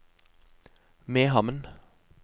Mehamn